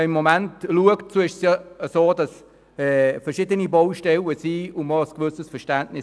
Im Moment gibt es verschiedene Baustellen, und man hat ein gewisses Verständnis.